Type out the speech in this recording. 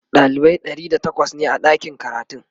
dalibai ɗari da takwas ne a ɗakin karatun